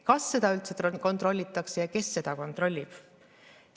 Kas seda üldse kontrollitakse ja kes seda kontrollib?